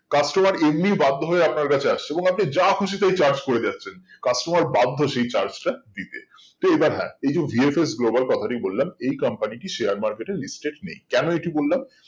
customer এমনি বাধ্য হয়ে আপনার কাছে আসছে এবং আপনি যা খুশি তাই charge করে যাচ্ছেন customer বাধ্য সেই charge টা দিতে তো এবার হ্যাঁ এই যে VFS Global কথাটি বললাম এই company টি share market এ listed নেই কেন এটি বললাম